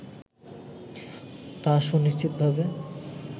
তা সুনিশ্চিতভাবে